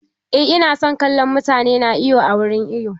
Eh ina son kallon mutane na iwo a wurin iwo.